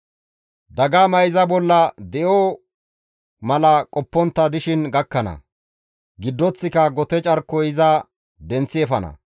Dagamay iza bolla di7o mala qoppontta dishin gakkana; giddoththika gote carkoy iza denththi efana.